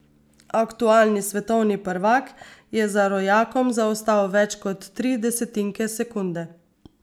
Aktualni svetovni prvak je za rojakom zaostal več kot tri desetinke sekunde.